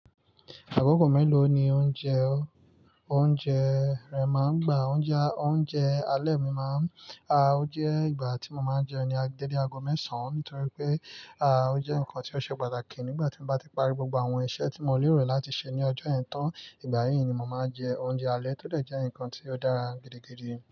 Àkókò mélòó ni o ń jẹ oúnjẹ? Oúnjẹ rẹ̀ máa ń gba, oúnjẹ, oúnjẹ alẹ́ mi máa ń, aah! O jẹ́ ìgbà tí mo máa ń jẹun ni a dé dé ago mẹ́sàn-án, nítorí pé, aah! O jẹ́ nǹkan tí ó ṣe pàtàkì nígbà tí mo bá ti parí gbogbo àwọn iṣẹ́ tí mo lè rò láti ṣe ní ọjọ́ yen tàn, ìgbà yíì ni mo máa jẹ oúnjẹ alẹ́ tó lè jẹ́ ǹkan tí ó dára gidigidi.